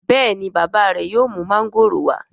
béèni bàbá re yóò mú Mángòrò wa?